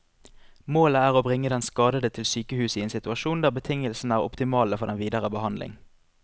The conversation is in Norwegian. Målet er å bringe den skadede til sykehus i en situasjon der betingelsene er optimale for den videre behandling.